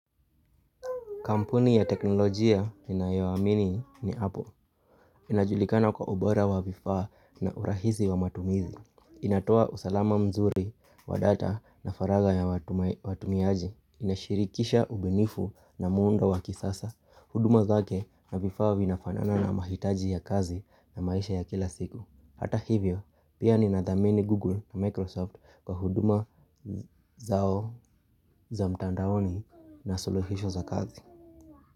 Kampuni ya teknolojia ninayoamini ni Apple. Inajulikana kwa ubora wa vifaa na urahisi wa matumizi. Inatoa usalama mzuri wa data na faraga ya watumiaji. Inashirikisha ubunifu na muundo wa kisasa. Huduma zake na vifaa vinafanana na mahitaji ya kazi na maisha ya kila siku. Hata hivyo, pia ninathamini Google na Microsoft kwa huduma zao za mtandaoni na suluhisho za kazi.